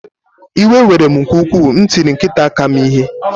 Iwe were m nke ukwuu m tiri nkịta m aka ike.